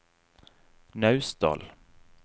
Naustdal